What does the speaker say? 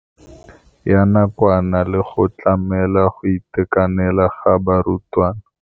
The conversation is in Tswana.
Ya nakwana le go tlamela go itekanela ga barutwana.